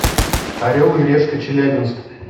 орел и решка челябинск